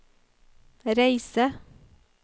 reise